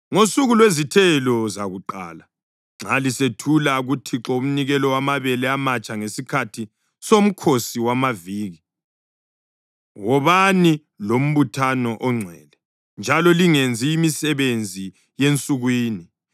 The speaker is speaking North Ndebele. “ ‘Ngosuku lwezithelo zakuqala, nxa lisethula kuThixo umnikelo wamabele amatsha ngesikhathi soMkhosi wamaViki, wobani lombuthano ongcwele njalo lingenzi imisebenzi yensukwini.